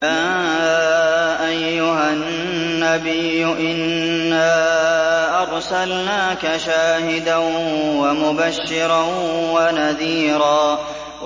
يَا أَيُّهَا النَّبِيُّ إِنَّا أَرْسَلْنَاكَ شَاهِدًا وَمُبَشِّرًا وَنَذِيرًا